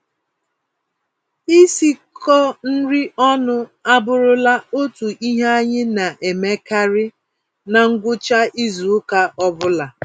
Isikọ-nri-ọnụ abụrụla otu ihe anyị naemekarị na ngwụcha izuka ọbula